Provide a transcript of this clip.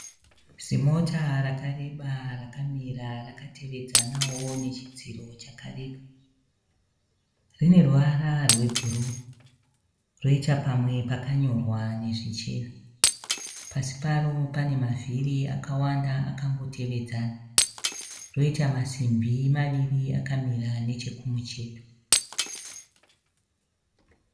Zimota rakareba rakamira rakatevedzanawo nechidziro chakareba. Rine ruvara rwebhuruu roita pamwe pakanyorwa nezvichena. Pasi paro pane mavhiri akawanda akangotevedzana. Roita masimbi maviri akamira nechekumucheto.